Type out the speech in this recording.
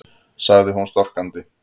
sagði hún storkandi.